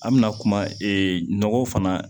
An bɛna kuma nɔgɔ fana